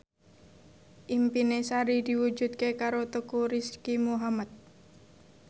impine Sari diwujudke karo Teuku Rizky Muhammad